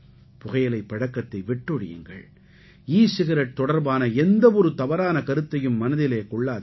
புகையிலைப் பழக்கத்தை விட்டொழியுங்கள் ஈ சிகரெட் தொடர்பான எந்த ஒரு தவறான கருத்தையும் மனதிலே கொள்ளாதீர்கள்